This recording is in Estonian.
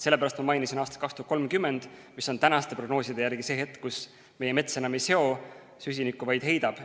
Sellepärast ma mainisin aastat 2030, mis on praeguste prognooside järgi see hetk, kus meie mets enam ei seo süsinikku, vaid heidab.